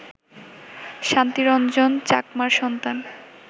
শান্তি রঞ্জন চাকমার সন্তান